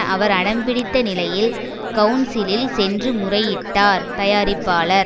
அவர் அடம்பிடித்த நிலையில் கவுன்சிலில் சென்று முறையிட்டார் தயாரிப்பாளர்